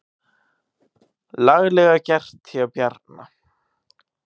Laglega gert hjá Bjarna.